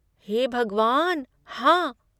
हे भगवान, हाँ!